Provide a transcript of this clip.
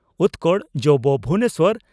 ᱩᱛᱠᱚᱲ ᱡᱹᱵᱹ ᱵᱷᱩᱵᱚᱱᱮᱥᱚᱨ ᱾